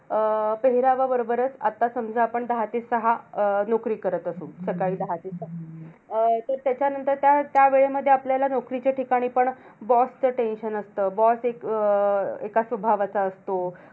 अं पेहेरावाबरोबरच आता समजा आपण दहा ते सहा अं नोकरी करत असू. सकाळी दहा ते सहा. तर त्याच्यानंतर त्या त्या वेळेमध्ये आपल्याला नोकरीच्या ठिकाणी पण boss चं tension असतं. boss एक अं एका स्वभावाचा असतो.